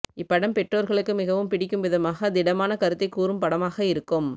இப்படம் பெற்றோர்களுக்கு மிகவும் பிடிக்கும் விதமாக திடமான கருத்தைக் கூறும் படமாக இருக்கும்